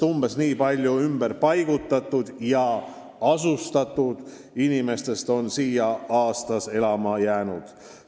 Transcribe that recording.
Umbes nii palju ümberpaigutatud ja -asustatud inimestest on siia aastas elama jäänud.